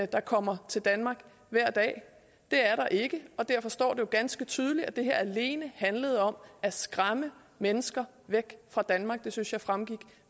der kommer til danmark hver dag det er der ikke derfor står jo ganske tydeligt at det her alene handlede om at skræmme mennesker væk fra danmark det synes jeg fremgik